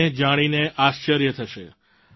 તમને જાણીને આશ્ચર્ય થશે